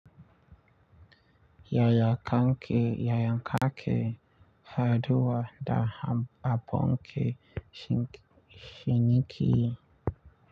Yaya kake yaya kake haɗuwa da abokan ciniki.